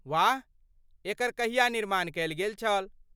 वाह, एकर कहिया निर्माण कयल गेल छल?